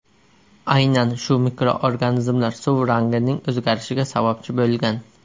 Aynan shu mikroorganizmlar suv rangining o‘zgarishiga sababchi bo‘lgan.